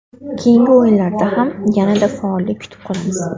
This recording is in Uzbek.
Keyingi o‘yinlarda ham yanada faollik kutib qolamiz.